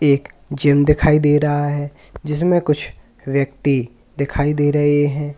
एक जिम दिखाई दे रहा है जिसमें कुछ व्यक्ति दिखाई दे रहे हैं।